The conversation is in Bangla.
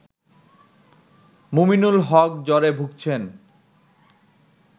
মুমিনুল হক জ্বরে ভুগছেন